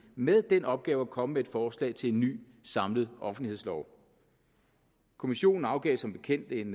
med den opgave at komme med et forslag til en ny samlet offentlighedslov kommissionen afgav som bekendt en